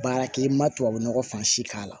Baara kɛ i ma tubabunɔgɔ fansi k'a la